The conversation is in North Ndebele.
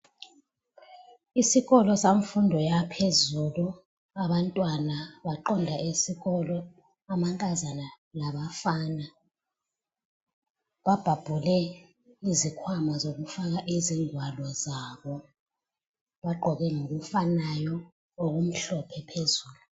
Isikolo semfundo yaphezulu, abantwana baqonda esikolo, amankazana labafana. Babhabhule izikhwama zokufaka izingwalo zabo, bagqoke ngokufanayo, okumhlophe phezulu.